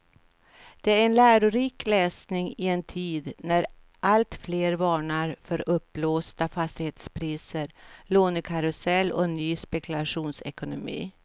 Det är en lärorik läsning i en tid när alltfler varnar för uppblåsta fastighetspriser, lånekarusell och ny spekulationsekonomi.